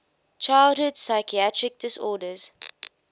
childhood psychiatric disorders